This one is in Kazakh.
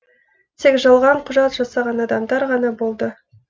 тек жалған құжат жасаған адамдар ғана болды